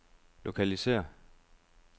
lokalisér